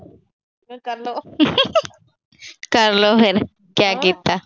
ਕਰ ਲੋ ਫਿਰ ਕਿਆ ਕੀਤਾ।